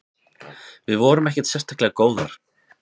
Við vorum ekkert sérstaklega góðar.